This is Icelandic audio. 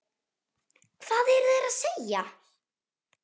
Hvað eru þeir að segja?